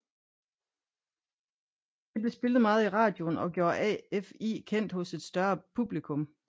Det blev spillet meget i radioen og gjorde AFI kendt hos et større publikum